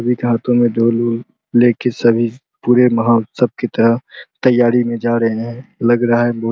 एक हाथो में ढोल उल ले के सभी पुरे महाउत्सव की तरह तैयारी में जा रहे हैं लग रहा है बहो --